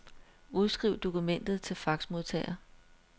Udskriv dokumentet til faxmodtager.